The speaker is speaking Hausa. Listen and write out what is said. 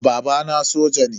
Babana soja ne.